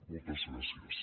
moltes gràcies